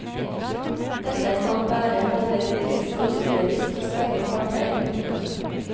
Dette kan være både bevisst og ubevisst hos begge parter. punktum